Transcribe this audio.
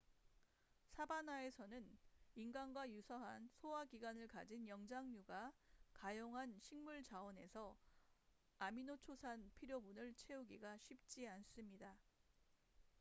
사바나에서는 인간과 유사한 소화기관을 가진 영장류가 가용한 식물 자원에서 아미노초산 필요분을 채우기가 쉽지 않습니다